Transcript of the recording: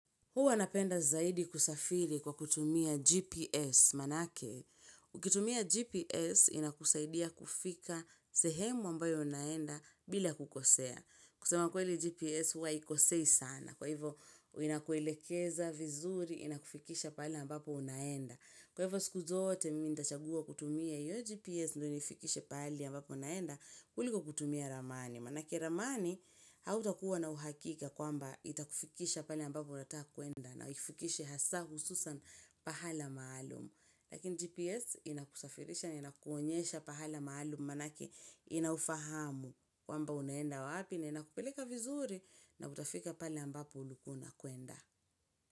Huwa napenda zaidi kusafiri kwa kutumia GPS manake. Ukitumia GPS inakuzaidia kufika sehemu ambayo unaenda bila kukosea. Kusema kweli GPS huwa haikosei sana. Kwa hivo inakuelekeza vizuri inakufikisha pahali ambapo unaenda. Kwa hivo siku zote mimi nichagua kutumia hiyo GPS ndo nifikishe pahali ambapo naenda kuliko kutumia ramani. Maanake ramani, hautakuwa na uhakika kwamba itakufikisha pale ambapo unataka kwenda na ikufikishe hasa hususan pahala maalum. Lakini GPS inakusafirisha na inakuonyesha pahala maalum maanake inaufahamu kwamba unaenda wapi na inakupeleka vizuri na utafika pale ambapo unakoenda.